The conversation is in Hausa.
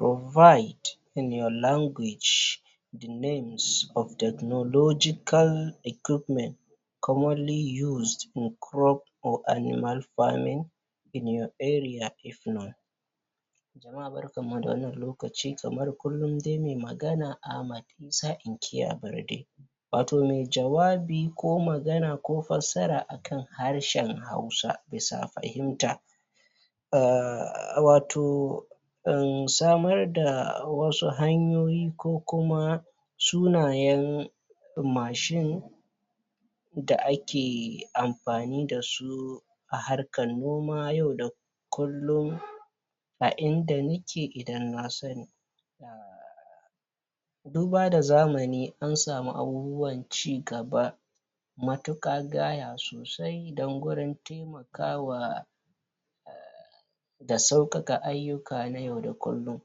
Write in your language (Rubuta a harshenka) names of technological equipments (sunayen kayan aiki na zamani) commonly used in crop or animal farming (da ake amfani da su a noman amfanin gona ko kiwon dabbobi) in your area (a yankin ku)? Jama'a barkanmu da wannan lokaci. Kamar kullum dai mai magana Ahmad Isa inkiya Barde watau mai jawabi ko magana ko fassara akan harshen hausa bisa fahimta um watau samar da wasu hanyoyi ko kuma sunayen mashin da ake amfani da su a harkan noma yau da kulllum a inda nake idan na sani Duba da zamani an samu abubuwan cigaba matuƙa gaya sosai don gurin kawowa da sauƙaƙa ayyuka na yau da kullum